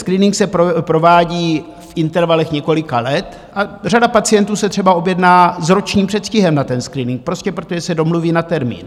Screening se provádí v intervalech několika let a řada pacientů se třeba objedná s ročním předstihem na ten screening, prostě protože se domluví na termín.